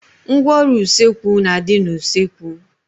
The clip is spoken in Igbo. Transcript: Ngwaọrụ usekwu na a dị n'usekwu